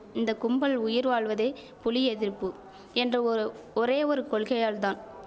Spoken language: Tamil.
இந்த கும்பல் உயிர் வாழ்வதே புலி எதிர்ப்பு என்ற ஒரு ஒரே ஒரு கொள்கையால்தான்